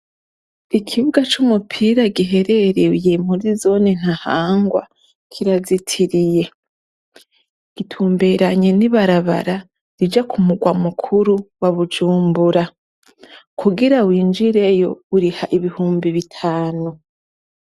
Ikibuga c' umupira giherereye muri zone Ntahangwa kirazitiriye. Gitumbereye n' ibarabara rija ku murwa mukuru wa Bujumbura. Kugira winjireyo, uriha ibihumbi bitanu.